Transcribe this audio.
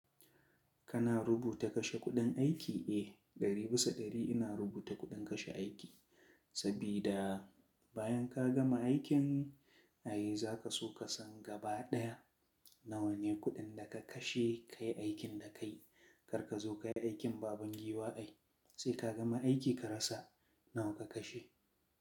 Kana rubuta kashe kuɗin aiki? Eh, ɗari bisa ɗari ina rubuta kuɗin kashe aiki. Sabida bayan ka gama aikin, ai za ka so ka san gaba ɗaya nawa ne kuɗin da ka kashe kayi aikin da ka yi. Kar ka zo ka yi aikin baban giwa ai, sai ka gama aiki ka rasa nawa ka kashe.